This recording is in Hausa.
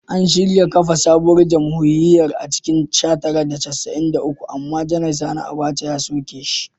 An shirya kafa sabuwar jamhuriya a cikin sha tara da casa’in da uku amma Janar Sani Abaca ya soke shi.